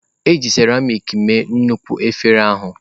E ji seramiiki mee nnukwu efere ahụ.